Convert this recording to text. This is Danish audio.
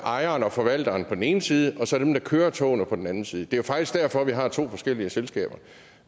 ejeren og forvalteren på den ene side og så dem der kører togene på den anden side det er faktisk derfor vi har to forskellige selskaber